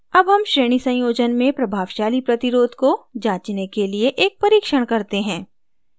अब हम श्रेणी संयोजन में प्रभावशाली प्रतिरोध resistance को जाँचने के लिए एक परीक्षण करते हैं